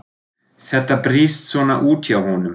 Þetta brýst svona út hjá honum.